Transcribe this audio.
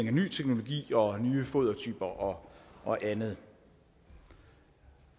af ny teknologi og nye fodertyper og og andet